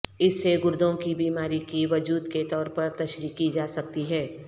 اس سے گردوں کی بیماری کے وجود کے طور پر تشریح کی جا سکتی ہے